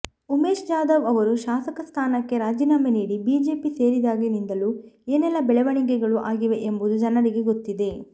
ಉಮೇಶ್ ಜಾಧವ್ ಅವರು ಶಾಸಕ ಸ್ಥಾನಕ್ಕೆ ರಾಜೀನಾಮೆ ನೀಡಿ ಬಿಜೆಪಿ ಸೇರಿದಾಗಿನಿಂದಲೂ ಏನೆಲ್ಲಾ ಬೆಳವಣಿಗೆಗಳು ಆಗಿವೆ ಎಂಬುದು ಜನರಿಗೆ ಗೊತ್ತಿದೆ